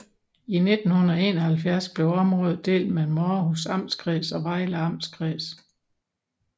I 1971 blev området delt mellem Århus Amtskreds og Vejle Amtskreds